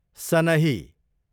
सनही